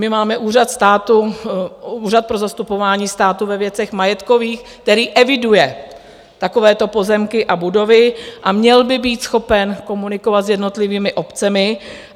My máme úřad státu, Úřad pro zastupování státu ve věcech majetkových, který eviduje takovéto pozemky a budovy a měl by být schopen komunikovat s jednotlivými obcemi.